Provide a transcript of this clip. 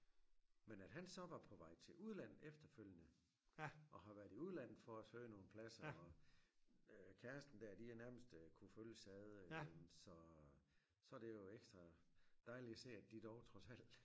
Men at han så var på vej til udlandet efterfølgende og har været i udlandet for at søge nogle pladser og øh kæresten der de har nærmest øh kunne følges ad så så det jo ekstra dejligt at se at de dog trods alt